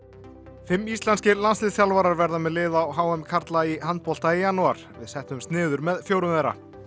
fimm íslenskir landsliðsþjálfarar verða með lið á h m karla í handbolta í janúar við settumst niður með fjórum þeirra